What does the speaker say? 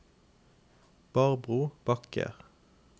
Barbro Bakke